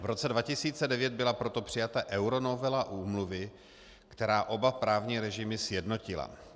V roce 2009 byla proto přijata euronovela úmluvy, která oba právní režimy sjednotila.